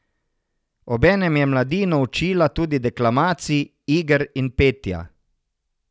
Obenem je mladino učila tudi deklamacij, iger in petja.